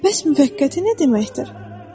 Bəs müvəqqəti nə deməkdir?